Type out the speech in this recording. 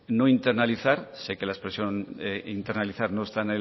no internalizar sé que la expresión internalizar no está